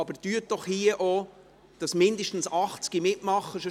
Aber versuchen Sie doch, dass auch hier mindestens 80 Personen mitmachen.